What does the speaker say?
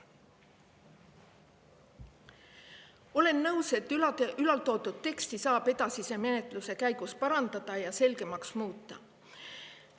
Olen nõus, et teksti saab edasise menetluse käigus paremaks ja selgemaks muuta.